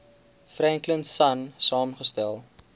franklin sonn saamgestel